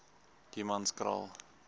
humanskraal